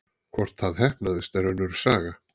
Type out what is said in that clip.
Hvort það heppnaðist er önnur saga.